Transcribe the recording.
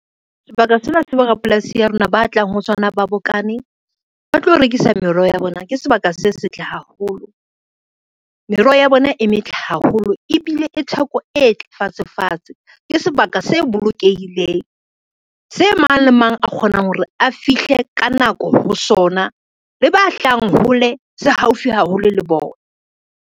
Sebaka sena se borapolasi ya rona ba tlang ho sona ba bokane ba tlo rekisa meroho ya bona ke sebaka se setle haholo, meroho ya bona e metle haholo ebile le theko e fatshe fatshe. Ke sebaka se bolokehileng, se mang le mang a kgonang hore a fihle ka nako ho sona, le ba hlahang hole se haufi haholo le bona.